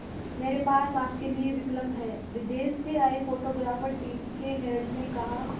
मेरे पास आपके लिए विकल्प है विदेश से आए फोटोग्राफर टीम के हेड ने कहा